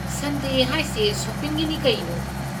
ꯁꯟꯗꯦ ꯍꯥꯏꯁꯦ ꯁꯣꯄꯤꯡꯒꯤꯅꯤ ꯀꯩꯅꯣ?